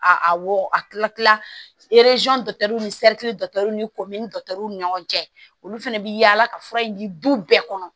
A wo a kila ni ni ko min ni ɲɔgɔn cɛ olu fɛnɛ bɛ yaala ka fura in di bɛɛ kɔnɔ